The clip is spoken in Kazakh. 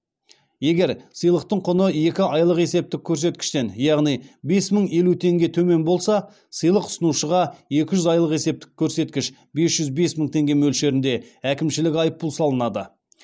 егер сыйлықтың құны екі айлық есептік көрсеткіштен яғни бес мың елу тенге төмен болса сыйлық ұсынушыға екі жүз айлық есептік көрсеткіш бес жүз бес мың теңге мөлшерінде әкімшілік айыппұл салынады